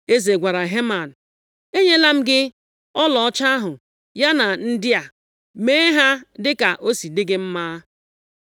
Eze gwara Heman, “Enyela m gị ọlaọcha ahụ, ya na ndị a. Mee ha dịka o si dị gị mma.”